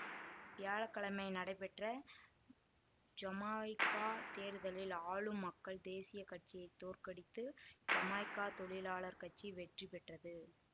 வியாழ கிழமை நடைபெற்ற ஜமாய்க்கா தேர்தலில் ஆளும் மக்கள் தேசிய கட்சியை தோற்கடித்து ஜமாய்க்கா தொழிலாளர் கட்சி வெற்றி பெற்றது